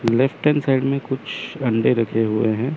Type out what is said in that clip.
Left hand side में कुछ अंडे रखे हुए हैं।